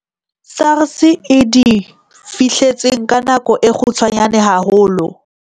SARS e di fihletseng ka nako e kgutshwanyane haholo.